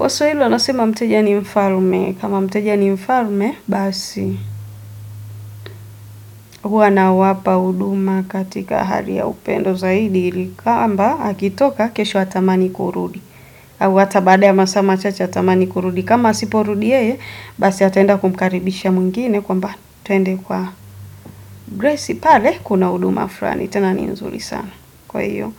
Waswahili wanasema mteja ni mfalme. Kama mteja ni mfalme, basi huwa nawapa huduma katika hali ya upendo zaidi. Kwamba, akitoka, kesho atamani kurudi. Au hata baada ya masaa machache, atamani kurudi. Kama asiporudi yeye, basi ataenda kumkaribisha mwingine kwamba twende kwa Bresi. Pale, kuna huduma fulani. Tena ni nzuri sana. Kwa hivyo,